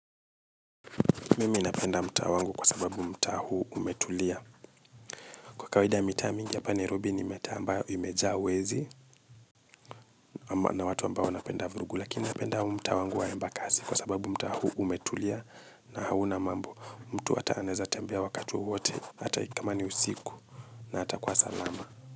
Mimi inapenda mta wangu kwa sababu mta huu umetulia. Kwa kawaida mitaa mingi hapa Nairobi ni mitaa ambayo imejaa wezi na watu ambao wanapenda vurugu. Lakini napenda mtaa wangu wa Embakasi kwa sababu mtaa huu umetulia na hauna mambo. Mtu hata anaeza tembea wakati wowote, hata kama ni usiku na atakuwa salama.